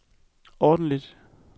ordentlig